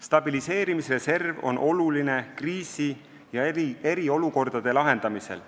Stabiliseerimisreserv on oluline kriisi- ja eriolukordade lahendamisel.